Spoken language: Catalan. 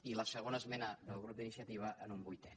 i la segona esmena del grup d’iniciativa en un vuitè